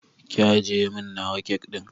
Ki ajjiye min nawa kek ɗin